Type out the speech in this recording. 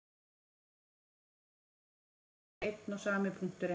Miðja jákvæðu hleðslunnar og miðja neikvæðu hleðslunnar eru þá einn og sami punkturinn.